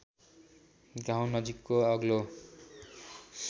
गाउँ नजिकको अग्लो